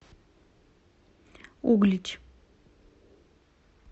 углич